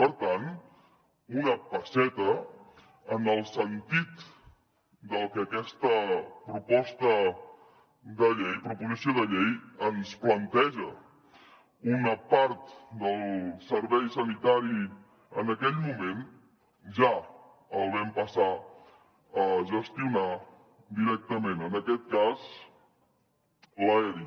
per tant un passet en el sentit del que aquesta proposició de llei ens planteja una part del servei sanitari en aquell moment ja el vam passar a gestionar directament en aquest cas l’aeri